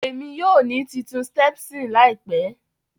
Emi yoo ni titun stepson laipe.